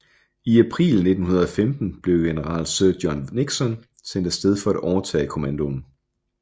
I april 1915 blev general Sir John Nixon sendt afsted for at overtage kommandoen